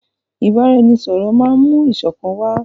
Ìbáraẹnisọ̀rọ̀ máà mú ìṣọ̀kan wá.